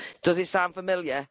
Does it sound familiar?